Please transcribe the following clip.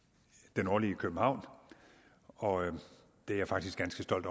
det nordlige københavn og jeg er faktisk ganske stolt